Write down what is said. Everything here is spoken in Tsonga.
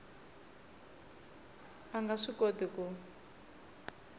a nga swi koti ku